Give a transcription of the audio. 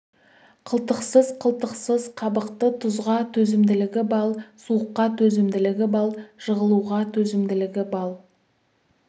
қылтықсыз қылтықсыз қабықты тұзға төзімділігі балл суыққа төзімділігі балл жығылуға төзімділігі балл